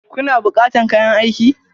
Kuna bukatan kayan aiki?